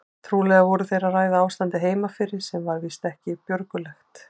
Trúlega voru þeir að ræða ástandið heima fyrir sem var víst ekki björgulegt.